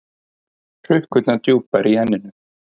Hrukkurnar djúpar í enninu.